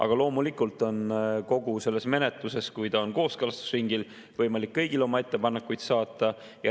Aga loomulikult on kogu selle menetluse ajal, kui on kooskõlastusringil, võimalik kõigil oma ettepanekuid saata.